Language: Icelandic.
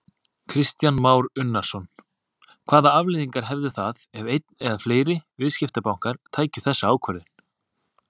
Kristján Már Unnarsson: Hvaða afleiðingar hefðu það ef einn eða fleiri viðskiptabankar tækju þessa ákvörðun?